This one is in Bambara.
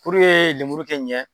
Puruke lemuru kɛ ɲɛ